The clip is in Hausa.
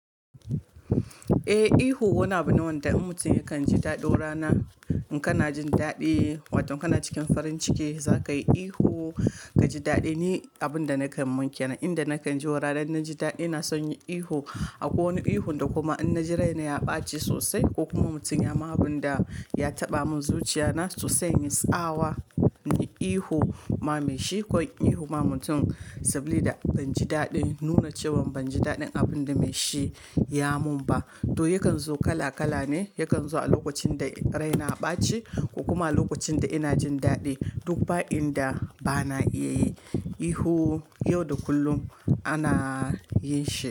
Eh ihu wani abu ne wanda in mutum yakan ji daɗo rana in kana jin daɗi wato kana cikin farin ciki za ka yi ihu ka ji daɗi. Ni abun da nakan man kenan inda nakan ji wo rana na ji daɗi na son yin ihu, akwai wani ihu kuma in na ji raina ya ɓaci sosai ko kuma mutum ya ma abun da ya taɓa min zuciya na sosai na inyi tsawa na yi ihu ma mai shi ko ihu ma mutum sabilida ban ji daɗin nuna cewan ban ji daɗin abin da mai shi ya mun ba. To yakan zo kala kala ne, yakan zo a lokacin da raina ɓaci ko kuma lokacin da ina jin daɗi duk ba'in da bana iya yi ihu yau da kullum ana yin shi.